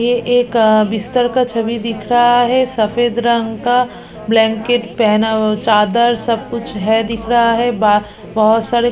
ये एक आ बिस्तर का छवि दिख रहा है सफेद रंग का ब्लैंकेट पहना हो चादर सब कुछ है दिख रहा है ब बहोत सारे--